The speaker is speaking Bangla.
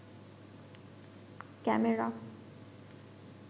ক্যামেরা